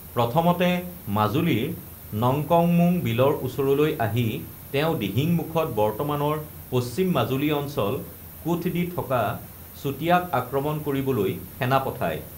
প্ৰথমতে মাজুলীৰ নঙকঙমোঙ বীলৰ ওচৰলৈ আহি তেওঁ দিহিঙমুখত বৰ্তমানৰ পশ্চিম মাজুলী অঞ্চল কোঠ দি থকা চুতীয়াক আক্ৰমণ কৰিবলৈ সেনা পঠায়।